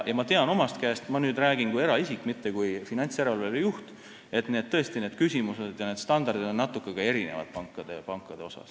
Ma tean omast käest – ja nüüd räägin kui eraisik, mitte kui finantsjärelevalve juht –, et need küsimused ja standardid on pankadel tõesti natuke erinevad.